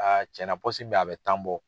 cɛn na min be yen, a bi tan bɔ.